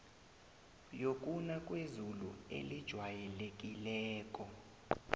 yokuna kwezulu elijwayelekileko